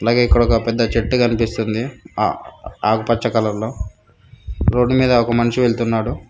ఇంకా ఇక్కడ ఒక పెద్ద చెట్టు కనిపిస్తుంది ఆకుపచ్చ కలర్లో రోడ్డు మీద ఒక మనిషి వెళ్తున్నాడు.